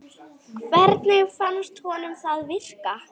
Hvernig fannst honum það virka?